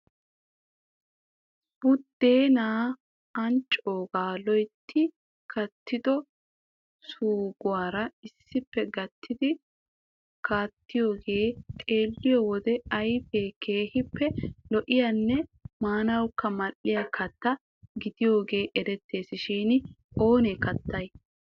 Budeena anccooga loytti kattido suugguwaara issippe gatti kattidooge xeelliyo wode ayfiyaa keehippe lo"iyanne maanawukka mal''iya kattaa gidiyaage erettees shin oonee kattanay?